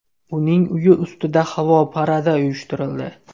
Uning uyi ustida havo paradi uyushtirildi.